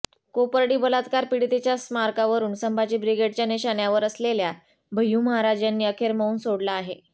कोपर्डी बलात्कार पीडितेच्या स्मारकावरुन संभाजी ब्रिगेडच्या निशाण्यावर असलेल्या भय्यू महाराज यांनी अखेर मौन सोडलं आहे